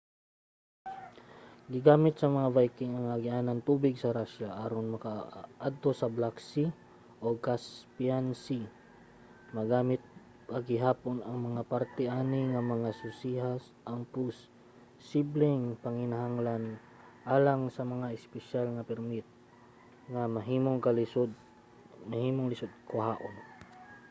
gigamit sa mga viking ang agianan sa tubig sa russia aron makaadto sa black sea ug caspian sea. magamit pa gihapon ang mga parte ani nga mga. susiha ang posibleng panginahanglan alang sa mga espesyal nga permit nga mahimong lisod kuhaon